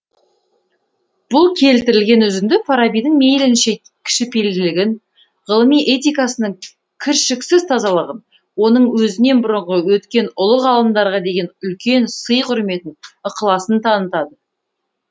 бұл келтірілген үзінді фарабидің мейлінше кішіпейілділігін ғылыми этикасының кіршіксіз тазалығын оның өзінен бұрынғы өткен ұлы ғалымдарға деген үлкен сый құрметін ықыласын танытады